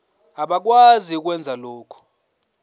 abakwazi ukwenza lokhu